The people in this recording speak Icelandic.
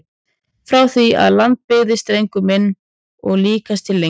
Frá því að land byggðist drengur minn og líkast til lengur!